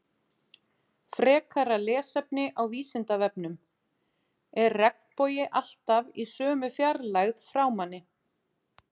Frekara lesefni á Vísindavefnum: Er regnbogi alltaf í sömu fjarlægð frá manni?